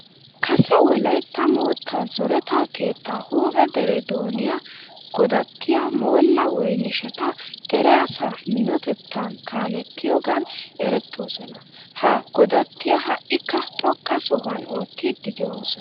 Kase wolaytta moottaa zoreta keettaa huuphe dere dooniya godattiya moolla woynisheta dere asaa minotettan kaalettiyogan erettoosona. Ha godattiya ha"ikka xoqqa sohuwan oottiiddi de'oosona.